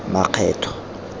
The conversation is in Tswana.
makgetho